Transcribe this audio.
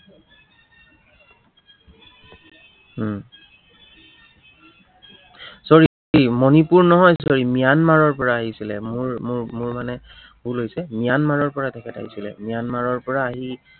উম sorry Manipur নহয় sorry ম্য়ানমাৰৰ পৰা আহিছিলে, মোৰ মোৰ মোৰ মানে ভুল হৈছে। ম্য়ানমাৰৰ পৰা তেখেত আহিছিলে, ম্য়ানমাৰৰ পৰা আহি